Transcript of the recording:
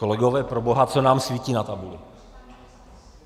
Kolegové, proboha, co nám svítí na tabuli?